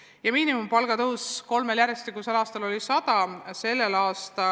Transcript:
Ja miinimumpalga tõus kolmel järjestikusel aastal oli, nagu ma ütlesin, 100 eurot.